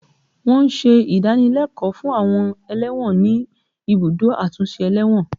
Wọn ń ṣe ìdánilẹ́kọ̀ọ́ fún àwọn ẹlẹ́wọ̀n ní ibùdó àtúnṣe ẹlẹ́wọ̀n